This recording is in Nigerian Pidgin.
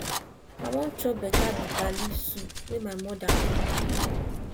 i wan chop better bitter leaf soup wey my mother cook